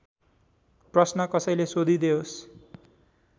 प्रश्न कसैले सोधिदेओस्